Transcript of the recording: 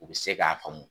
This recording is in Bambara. U bɛ se k'a faamu